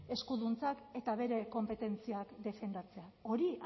eskuduntzak eta bere konpetentziak defendatzea hori